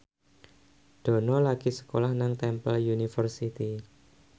Dono lagi sekolah nang Temple University